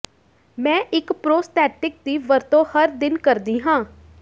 ਮੈਂ ਇੱਕ ਪ੍ਰੋਸਥੈਟਿਕ ਦੀ ਵਰਤੋਂ ਹਰ ਦਿਨ ਕਰਦੀ ਹਾਂ